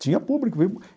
Tinha público viu.